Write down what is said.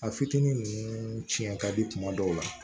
A fitinin nunnu cɛn ka di kuma dɔw la